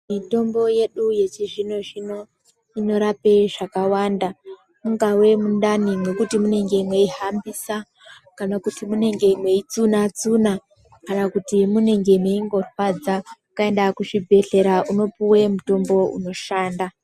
Mutombo yedu yechizvino zvino inorape zvakàwanda ingave mundane mekuti munenge meihambisa kana kuti munenge meitsuna tsuna kana kuti munenge meirwadza ukaenda kuchibhedhleya unopuwe mutombo inoshanda.